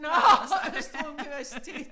Nåh Østre universitet